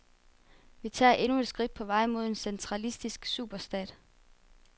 Vi tager endnu et skridt på vej mod en centralistisk superstat.